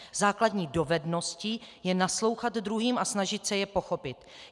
Základní dovedností je naslouchat druhým a snažit se je pochopit.